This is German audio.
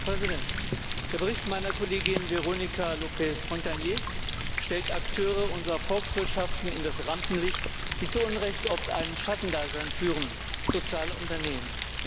Herr Präsident! Der Bericht meiner Kollegin Véronica Lope Fontagné stellt Akteure unserer Volkswirtschaften in das Rampenlicht, die zu Unrecht oft ein Schattendasein führen soziale Unternehmen.